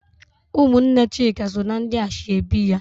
Ụmụnne Chika so na ndị ashebi ya.